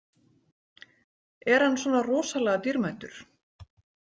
Er hann svona rosalega dýrmætur?